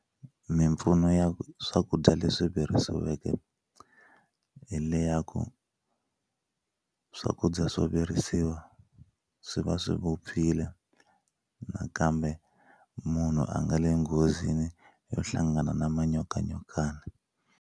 Mimpfuno ya swakudya leswi virisiweke hi le ya ku swakudya swo virisiwa swi va swi vupfile nakambe munhu a nga le nghozini yo hlangana na manyokanyokana.